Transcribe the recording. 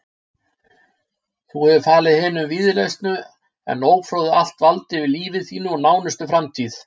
Þú hefur falið hinum víðlesnu en ófróðu allt vald yfir lífi þínu og nánustu framtíð.